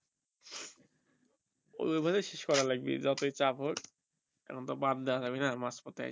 ওই ভাবেই শেষ করা লাগবে যতই চাপ হক কারণ ওটা বাদ দেওয়া যাবে না মাঝ পইথে এসে